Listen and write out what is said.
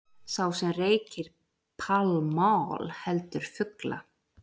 Sá sem reykir Pall Mall heldur fugla.